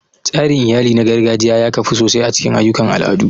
Tsarin iyali na gargajiya ya kafu sosai a cikin ayyukan al'adu.